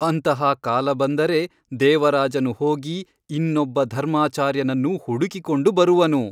ಅಂತಹ ಕಾಲ ಬಂದರೆ ದೇವರಾಜನು ಹೋಗಿ ಇನ್ನೊಬ್ಬ ಧರ್ಮಾಚಾರ್ಯನನ್ನು ಹುಡುಕಿಕೊಂಡು ಬರುವನು.